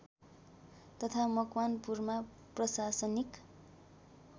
तथा मकवानपुरमा प्रशासनिक